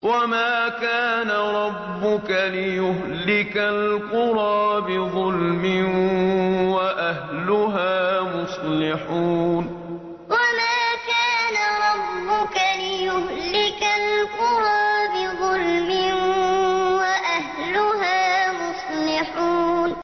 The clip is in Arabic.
وَمَا كَانَ رَبُّكَ لِيُهْلِكَ الْقُرَىٰ بِظُلْمٍ وَأَهْلُهَا مُصْلِحُونَ وَمَا كَانَ رَبُّكَ لِيُهْلِكَ الْقُرَىٰ بِظُلْمٍ وَأَهْلُهَا مُصْلِحُونَ